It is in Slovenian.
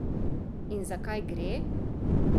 In zakaj gre?